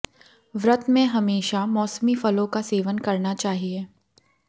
व्रत में हमेशा मौसमी फलों का सेवन करना चाहिए